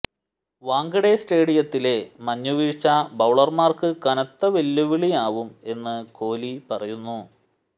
വാംഖഡെ സ്റ്റേഡിയത്തിലെ മഞ്ഞുവീഴ്ച ബൌളര്മാര്ക്ക് കനത്ത വെല്ലുവിളിയാവും എന്ന് കോലി പറയുന്നു